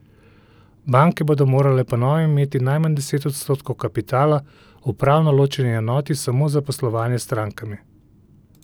Banke bodo morale po novem imeti najmanj deset odstotkov kapitala v pravno ločeni enoti samo za poslovanje s strankami.